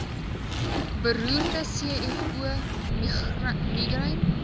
beroerte cvo migraine